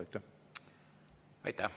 Aitäh!